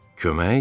Kömək?